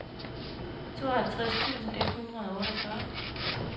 tooghalvtreds tusind et hundrede og otteogfyrre